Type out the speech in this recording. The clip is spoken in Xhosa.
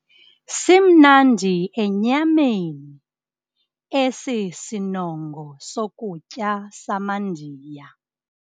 Simnandi enyameni esi sinongo sokutya samaNdiya.